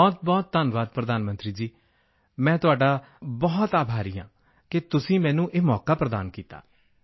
ਬਹੁਤ ਧੰਨਵਾਦ ਪ੍ਰਧਾਨ ਮੰਤਰੀ ਜੀ ਮੈਂ ਤੁਹਾਡਾ ਬਹੁਤਬਹੁਤ ਆਭਾਰੀ ਹਾਂ ਕਿ ਤੁਸੀਂ ਮੈਨੂੰ ਇਹ ਮੌਕਾ ਪ੍ਰਦਾਨ ਕੀਤਾ